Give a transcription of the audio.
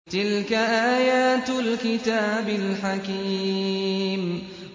تِلْكَ آيَاتُ الْكِتَابِ الْحَكِيمِ